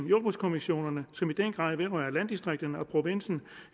jordbrugskommissionerne som i den grad vedrører landdistrikterne og provinsen